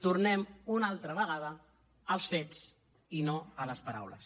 tornem una altra vegada als fets i no a les paraules